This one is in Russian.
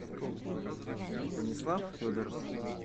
станислав федоров